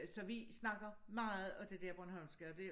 Så vi snakker meget af det dér bornolmske og det